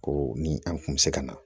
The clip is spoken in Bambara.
Ko ni an kun mi se ka na